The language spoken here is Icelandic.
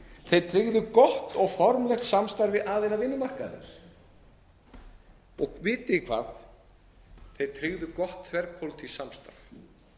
þeir tryggðu gott og formlegt samstarf við aðila vinnumarkaðarins og vitið þið hvað þeir tryggðu gott þverpólitískt samstarf